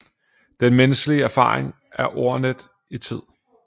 Den menneskelige erfaring er ordnet i tid